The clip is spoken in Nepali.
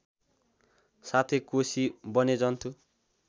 साथै कोशी वन्यजन्तु